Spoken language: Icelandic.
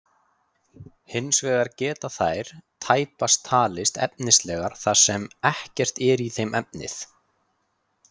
Hins vegar geta þær tæpast talist efnislegar þar sem ekkert er í þeim efnið.